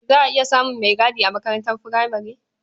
Za a iya samun maigadi a makarantar furamare.